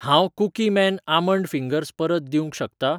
हांव Cookie Man almond fingers परत दिवंक शकतां?